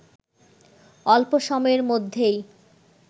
অল্প সময়ের মধ্যেই